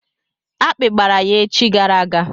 Akpi gbara ya echi gara aga.